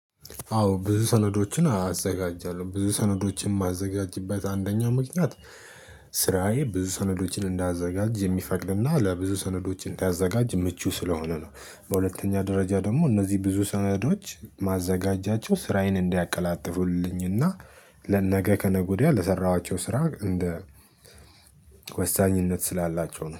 አዎ ብዙ ሰነዶችን አዘጋጃለሁ ብዙ ሰነዶችን የማዘጋጅበት አንደኛ ምክንያት ስራዬ ብዙ ሰነዶችን እንዳዘጋጅ የሚፈቅድና ለብዙ ሰነዶች እንዳዘጋጅ ምቹ ስለሆነ ነው። በሁለተኛ ደረጃ ደግሞ እነዚህ ብዙ ሰነዶች ማዘጋጃቸው ስራዬን እንዲያቀላጥፉልኝና ለነገ ከነገ ወዲያ ለሰራኋቸው ስራ እንደ ወሳኝነት ስላላቸው ነው